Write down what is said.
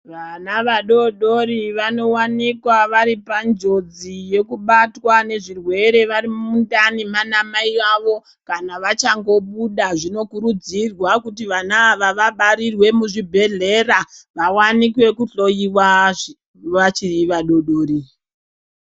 Vana vadodori vanowanikwa vari panjodzi yekubatwa nezvirwere vari mundani kwaana mai vavo kana vachangobuda. Zvinokurudzirwa kuti vana ava vabarirwe muzvibhedhlera kuti vaone kuhloyiwa vari vana vadodori.